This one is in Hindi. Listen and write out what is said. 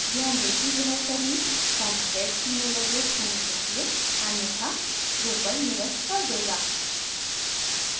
ध्यान दें कि यह सही formatted email address होना चाहिए अन्यथा drupal निरस्त कर देगा